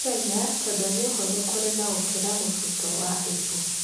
Kenya tondũ nĩ ũhũthũ kũrĩma gũkĩra mũbuto wa apple